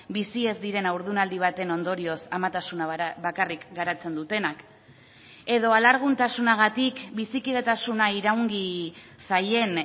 bizi ez diren haurdunaldi baten ondorioz amatasuna bakarrik garatzen dutenak edo alarguntasunagatik bizikidetasuna iraungi zaien